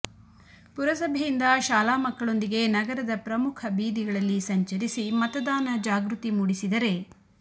ಪುರಸಭೆಯಿಂದ ಶಾಲಾ ಮಕ್ಕಳೊಂದಿಗೆ ನಗರದ ಪ್ರಮುಖ ಬೀದಿಗಳಲ್ಲಿ ಸಂಚರಿಸಿ ಮತದಾನ ಜಾಗೃತಿ ಮೂಡಿಸಿದರೆ